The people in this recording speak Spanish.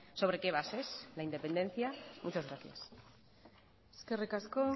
sobre qué bases la independencia muchas gracias eskerrik asko